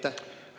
Teie aeg!